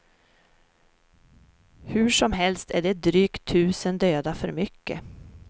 Hursomhelst är det drygt tusen döda för mycket.